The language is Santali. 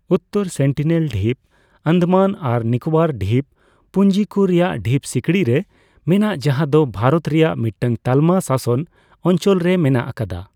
ᱩᱛᱛᱚᱨ ᱥᱮᱱᱴᱤᱱᱮᱞ ᱰᱷᱤᱯ ᱟᱱᱫᱟᱢᱟᱱ ᱟᱨ ᱱᱤᱠᱚᱵᱚᱨ ᱰᱷᱤᱯ ᱯᱩᱸᱡᱤ ᱠᱩ ᱨᱮᱭᱟᱜ ᱰᱷᱤᱯ ᱥᱤᱠᱲᱤ ᱨᱮ ᱢᱮᱱᱟᱜ ᱡᱟᱦᱟᱸ ᱫᱚ ᱵᱷᱟᱨᱚᱛ ᱨᱮᱭᱟᱜ ᱢᱤᱫᱽᱴᱟᱝ ᱛᱟᱞᱢᱟ ᱥᱟᱥᱚᱱ ᱚᱧᱪᱚᱞ ᱨᱮ ᱢᱮᱱᱟᱜ ᱟᱠᱟᱫᱟ ᱾